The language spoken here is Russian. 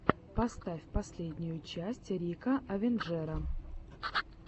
поставь последнюю часть рика авенджера